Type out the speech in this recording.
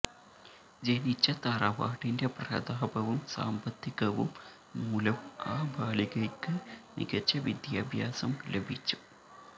ജനിച്ച തറവാടിെൻ്റ പ്രതാപവും സാമ്പത്തികവും മൂലം ആ ബാലികയ്ക്ക് മികച്ച വിദ്യാഭ്യാസം ലഭിച്ചു